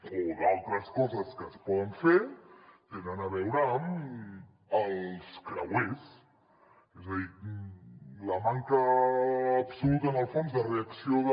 o d’altres coses que es poden fer tenen a veure amb els creuers és a dir la manca absoluta en el fons de reacció de